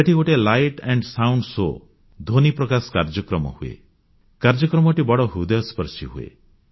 ସେଠି ଗୋଟିଏ ଆଲୋକ ଓ ଧ୍ୱନି କାର୍ଯ୍ୟକ୍ରମ ଲାଇଟ୍ ଆଣ୍ଡ୍ ସାଉଣ୍ଡ ଶୋ ହୁଏ କାର୍ଯ୍ୟକ୍ରମଟି ବଡ଼ ହୃଦୟସ୍ପର୍ଶୀ ହୁଏ